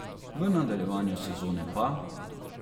V nadaljevanju sezone pa ...